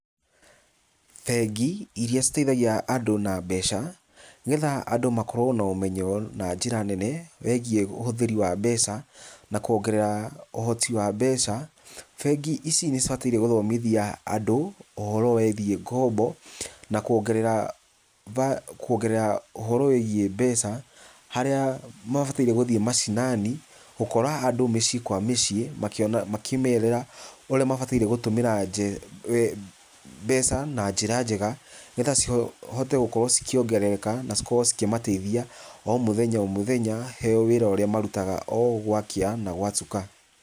Bengi iria citeithagia andũ na mbeca, nĩgetha andũ makorwo na ũmenyo na njĩra nene, wĩgiĩ ũhũthĩri wa mbeca, na kuongerera ũhoti wa mbeca , bengi ici nĩ cibataire gũthomithia andũ ũhoro wĩgiĩ ngombo, na kuongerera, kuongerera ũhoro wĩgiĩ mbeca, harĩa mabatairie gũthiĩ macinani, gũkora andũ mũciĩ kwa mũciĩ makĩmerĩra ũrĩa mabatairie gũtũmĩra mbeca na njĩra njega nĩgetha cihote gũkorwo cikĩongerereka na cikorwo cikĩmateithia o mũthenya o mũthenya , he wĩra ũrĩa marutaga o gwakia na gwatuka.